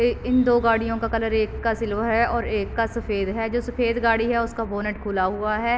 ए इन दो गाड़ियों का कलर एक का सिल्वर है और एक का सफ़ेद है जो सफ़ेद गाड़ी है उसका बोनट खुला हुआ है।